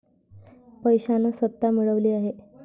पैशाने सत्ता मिळवली आहे.